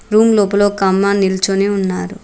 Room లోపల ఒక అమ్మాయి నిల్చొని ఉన్నారు.